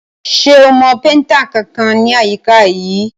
Ṣo mọ péntà kankan ní àyíká yìí?